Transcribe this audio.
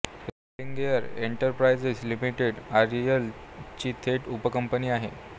Religare enterprises limited REL ची थेट उपकंपनी आहे